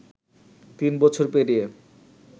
তিন বছর পেরিয়ে